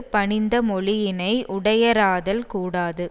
பணிந்த மொழியினை உடையராதல் கூடாது